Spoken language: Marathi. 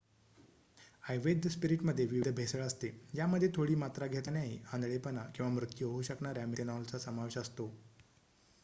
अवैध स्पिरीटमध्ये विविध भेसळ असते ज्यामध्ये थोडी मात्रा घेतल्यानेही आंधळेपणा किंवा मृत्यू होऊ शकणाऱ्या मिथेनॉलचा समावेश असतो